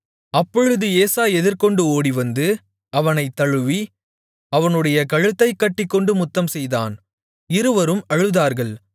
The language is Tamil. அப்பொழுது ஏசா எதிர்கொண்டு ஓடிவந்து அவனைத் தழுவி அவனுடைய கழுத்தைக் கட்டிக்கொண்டு முத்தம்செய்தான் இருவரும் அழுதார்கள்